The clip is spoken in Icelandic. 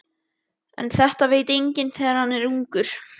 En þetta veit enginn þegar hann er ungur.